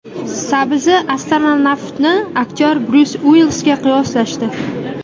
Sabzi-astronavtni aktyor Bryus Uillisga qiyoslashdi .